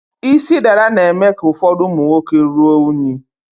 Isi dada na-eme ka ụfọdụ ụmụ nwoke rụọ unyi.